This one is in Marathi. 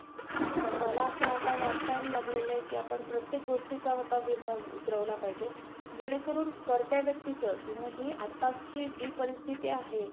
जे आता नवीन वेग वेगळे company च smartphone येत आहेत. त्याचा compare मध्ये samsung ने हा feature आणला असेल. कि autocallrecord बंद करता. तसा तर autocallrecord असतोच. पण